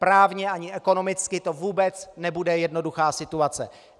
Právně ani ekonomicky to vůbec nebude jednoduchá situace.